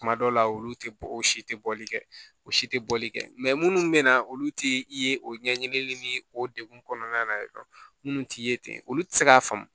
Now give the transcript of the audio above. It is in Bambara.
Kuma dɔw la olu tɛ bɔ o si tɛ bɔli kɛ o si tɛ bɔli kɛ minnu bɛ na olu tɛ i ye o ɲɛɲinili ni o degun kɔnɔna na minnu t'i ye ten olu tɛ se k'a faamu